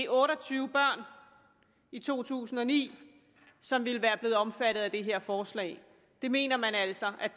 otte og tyve børn i to tusind og ni som ville være blevet omfattet af det her forslag det mener man altså